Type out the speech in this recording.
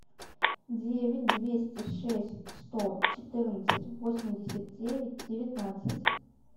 девять двести шесть сто четырнадцать восемьдесят девять девятнадцать